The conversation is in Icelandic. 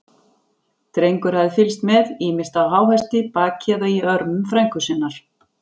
Drengur hafði fylgst með, ýmist á háhesti, baki eða í örmum frænku sinnar.